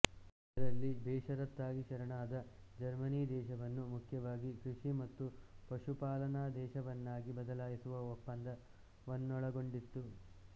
ಇದರಲ್ಲಿ ಬೇಷರತ್ತಾಗಿ ಶರಣಾದ ಜರ್ಮನಿ ದೇಶವನ್ನು ಮುಖ್ಯವಾಗಿ ಕೃಷಿ ಮತ್ತು ಪಶುಪಾಲನಾ ದೇಶವನ್ನಾಗಿ ಬದಲಾಯಿಸುವ ಒಪ್ಪಂದವನ್ನೊಳಗೊಂಡಿತ್ತು